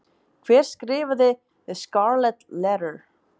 Hver skrifaði The Scarlet Letter?